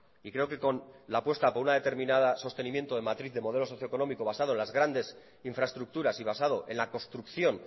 y creo que con la apuesta por una determinada sostenimiento de matriz socioeconómico basado en las grandes infraestructuras y basado en la construcción